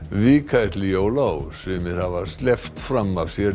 vika er til jóla og sumir hafa sleppt fram af sér